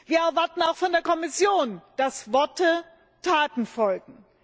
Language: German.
Wir erwarten auch von der Kommission, dass Worten Taten folgen.